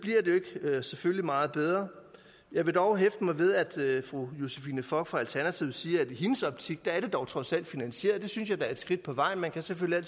selvfølgelig ikke meget bedre jeg vil dog hæfte mig ved at fru josephine fock fra alternativet siger at i hendes optik er det dog trods alt finansieret det synes jeg da er et skridt på vejen man kan selvfølgelig